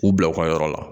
U bila u ka yɔrɔ la